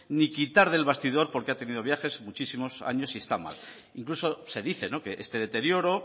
ni quitar del bastidor porque ha tenido viajes muchísimos años y está mal incluso se dice que este deterioro